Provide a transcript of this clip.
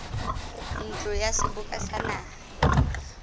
ntlong ya seboka sa naha